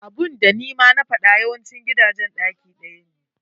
Abunda nima na faɗa yawancin gidajen ɗaki ɗaya ne.